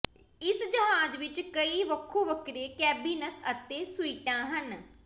ਇਸ ਜਹਾਜ਼ ਵਿੱਚ ਕਈ ਵੱਖੋ ਵੱਖਰੇ ਕੈਬਿਨਸ ਅਤੇ ਸੂਈਟਾਂ ਹਨ